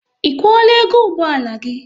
Ị kwuola ego ụgbọala gị?